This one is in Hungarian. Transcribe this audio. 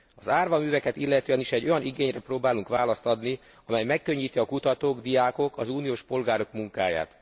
Az árva műveket illetően is olyan igényre próbálunk választ adni, amely megkönnyíti a kutatók, diákok, az uniós polgárok munkáját.